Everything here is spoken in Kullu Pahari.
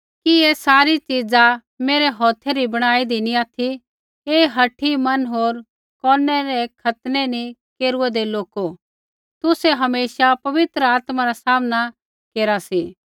कि ऐ सारी च़ीज़ा मेरै हौथै री बैणी दी नी ऑथि हे हठी मन होर कोनै रै खतनै नी केरूऐदै लोको तुसै हमेशा पवित्र आत्मा रा सामना केरा सी